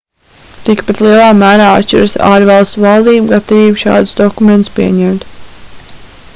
tikpat lielā mērā atšķiras ārvalstu valdību gatavība šādus dokumentus pieņemt